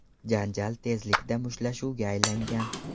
Janjal tezlikda mushtlashuvga aylangan.